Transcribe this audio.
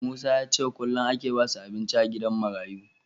Musa yace kullun ake basu abinci a gidan marayu